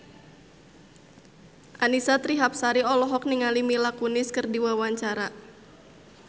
Annisa Trihapsari olohok ningali Mila Kunis keur diwawancara